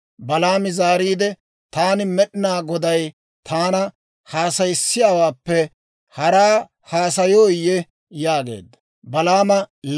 Balaami zaariide, «Taani Med'inaa Goday taana haasayissiyaawaappe haraa haasayooyye?» yaageedda.